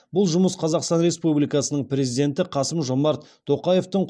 бұл жұмыс қазақстан республикасының президенті қасым жомарт тоқаевтың